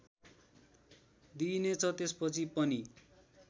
दिइनेछ त्यसपछि पनि